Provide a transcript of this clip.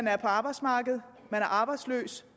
er på arbejdsmarkedet er arbejdsløse